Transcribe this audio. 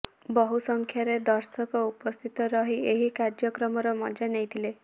ବହୁ ସଂଖ୍ୟାରେ ଦର୍ଶକ ଉପସ୍ଥିତ ରହି ଏହି କାର୍ଯ୍ୟକ୍ରମର ମଜା ନେଇଥିଲେ